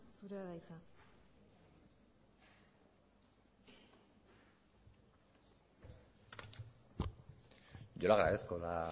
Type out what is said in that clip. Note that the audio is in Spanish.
zurea da hitza yo le agradezco la